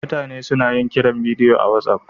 Mutane suna yin kiran bidiyo akan WhatsApp